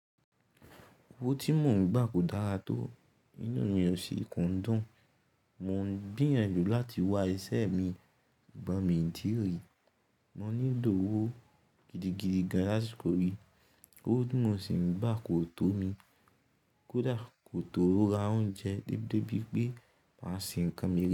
Owó tí mò ń gbà kò dára tó. Iná ni ó sì ko n dún. Mò ń gbìyànjú láti wá iṣẹ́ imi sugbon mí o tiíri. Mọ nílò owó gidigidi gan lasiko yií. Owó tí mò sì ń gbà kò tó mi. Kódà kò tó ra oúnjẹ déédé bí pé màá ṣe ń kan mí rí.